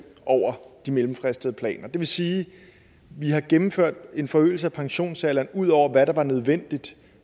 over de mellemfristede planer det vil sige at vi har gennemført en forøgelse af pensionsalderen ud over hvad der var nødvendigt